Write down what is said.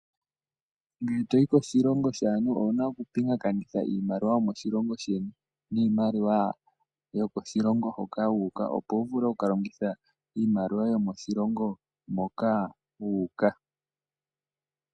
Ngele toyi koshilongo shaantu owuna okupingakanitha iimaliwa yomoshilongo sheni niimaliwa yokoshilongo hoka wu uka opo wuvule oku kalongitha iimaliwa yomoshilongo moka wu uka.